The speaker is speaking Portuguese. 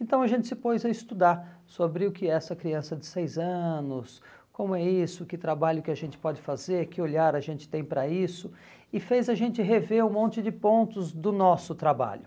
Então a gente se pôs a estudar sobre o que é essa criança de seis anos, como é isso, que trabalho que a gente pode fazer, que olhar a gente tem para isso, e fez a gente rever um monte de pontos do nosso trabalho.